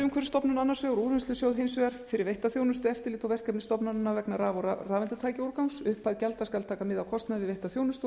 umhverfisstofnun annars vegar og úrvinnslusjóð hins vegar fyrir veitta þjónustu eftirlit og verkefni stofnananna vegna raf og rafeindatækjaúrgangs upphæð gjalda skal taka mið af kostnaði við veitta þjónustu og